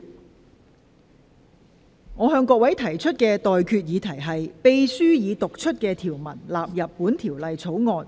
我現在向各位提出的待決議題是：秘書已讀出的條文納入本條例草案。